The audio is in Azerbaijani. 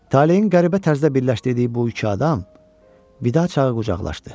Talehin qəribə tərzdə birləşdirdiyi bu iki adam vida çağı qucaqlaşdı.